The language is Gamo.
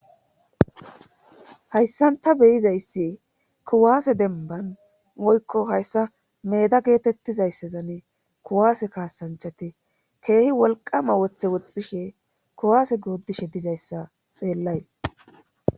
Hayssanta beyizayssi kuwaase denban woykko hayssa meeda geetettizayssezanne kuwaase kaasanchate keehi wolqama woththe woxxishe kuwaase goodishe dizayssa xeellays.